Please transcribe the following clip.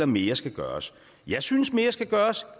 mere skal gøres jeg synes mere skal gøres